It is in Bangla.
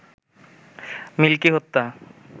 মিল্কি হত্যা